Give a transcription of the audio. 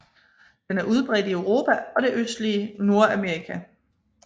Den er udbredt i Europa og det østlige Nordamerika